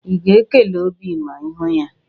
Ị ga-ekele Obi ma ị hu ya?